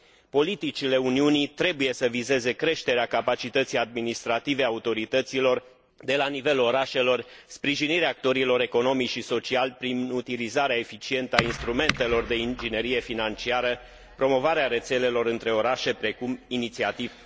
Politicile Uniunii trebuie să vizeze creșterea capacității administrative a autorităților de la nivelul orașelor, sprijinirea actorilor economici și sociali prin utilizarea eficientă a instrumentelor de inginerie financiară, promovarea rețelelor între orașe, precum inițiativa